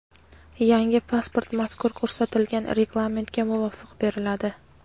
yangi pasport mazkur ko‘rsatilgan Reglamentga muvofiq beriladi.